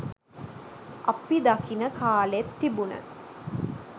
අපි දකින කාලෙත් තිබුන